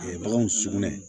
baganw sugunɛ